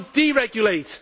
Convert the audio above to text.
You should deregulate.